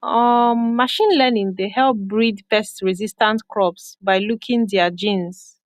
um machine learning dey help breed pestresistant crops by looking their genes